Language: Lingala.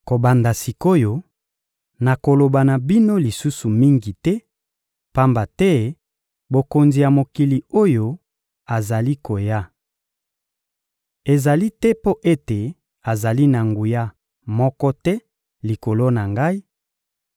Kobanda sik’oyo, nakoloba na bino lisusu mingi te, pamba te mokonzi ya mokili oyo azali koya. Ezali te mpo ete azali na nguya moko te likolo na Ngai,